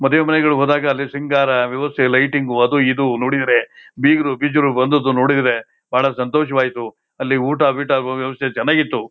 ಮದುವೆ ಮನೆಗಳಿಗೆ ಹೋದಾಗ ಅಲ್ಲಿ ಸಿಂಗರಾ ವ್ಯವಸ್ಥ ಲೈಟಿಂಗ್ಗು ಅದು ಇದು ನೋಡಿದ್ರೆ ಬೀಗರು ಬಿಜರು ಬಂದಿದು ನೋಡಿದ್ರೆ ಬಹಳ ಸಂತೋಷವಾಯಿತು ಅಲ್ಲಿ ಊಟ ಬೀಟಾ ಚನ್ನಾಗಿತ್ತು